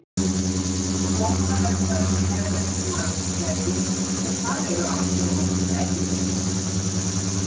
Skógareldar eru ekki mannskæðir, en það eru aftur á móti fellibyljir.